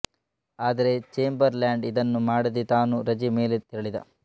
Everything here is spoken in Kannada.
ಆದರೆ ಚೇಂಬರ್ ಲ್ಯಾಂಡ್ ಇದನ್ನು ಮಾಡದೇ ತಾನೂ ರಜೆ ಮೇಲೆ ತೆರಳಿದ